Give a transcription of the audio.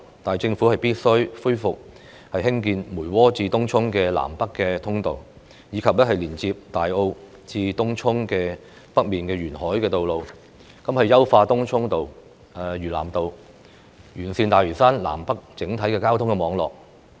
但政府必須恢復興建梅窩至東涌的南北通道，以及連接大澳至東涌北面的沿海道路；優化東涌道、嶼南道，以完善大嶼山南北整體的交通網絡。